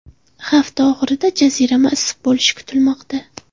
Hafta oxirida jazirama issiq bo‘lishi kutilmoqda.